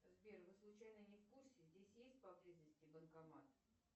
сбер вы случайно не в курсе здесь есть поблизости банкомат